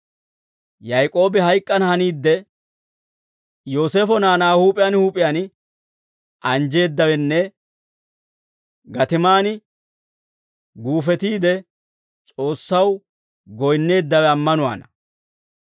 Yaak'oobi hayk'k'ana haniidde, Yooseefo naanaa huup'iyaan huup'iyaan anjjeeddawenne gatiman guufetiide, S'oossaw goyinneeddawe ammanuwaana.